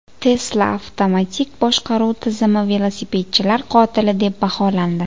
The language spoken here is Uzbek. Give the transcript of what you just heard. Tesla avtomatik boshqaruv tizimi velosipedchilar qotili deb baholandi.